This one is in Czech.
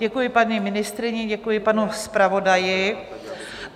Děkuji paní ministryni, děkuji panu zpravodaji.